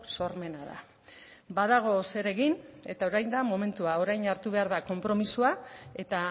sormena da badago zer egin eta orain da momentua orain hartu behar da konpromisoa eta